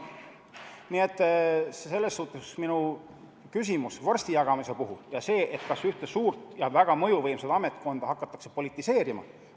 Nii et see minu küsimus vorsti jagamise kohta – kas ühte suurt ja väga mõjuvõimsat ametkonda hakatakse politiseerima?